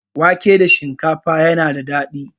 Wake da shinkafa yana da daɗi.